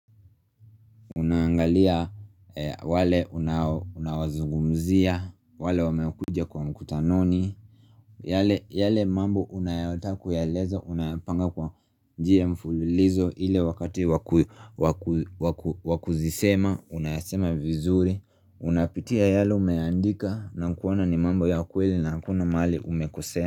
Unaangalia wale unaowazungumzia, wale wamekuja kwa mkutanoni yale yale mambo unayotaka kuyaeleza, unayapanga kwa njia ya mfululizo ile wakati wakuzisema, unayasema vizuri Unapitia yale umeandika, na kuona ni mambo ya ukweli na hakuna mahali umekosea.